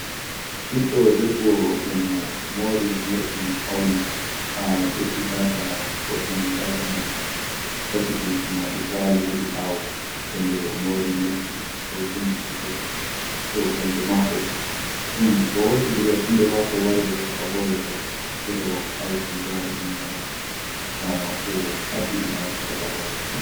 Ɓiɗɗo debbo, e mo moori morɗi fauwni, haa o ɓeddi gaasa goɗɗum, gaasa man ɗo safiti, amma ɗum vaali heedi ɓaawo, nden bo o moori morɗiɗin ɗiɗi ɗo jimbiti heedi dow balbe maako, ɗum ko hoosi daga tiinde maako warugo caka hoore bo, o ɗo hawti vaali ɗum bana haa o haɓɓiɗi haa caaka hoore.